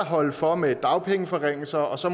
holde for med dagpengeforringelser så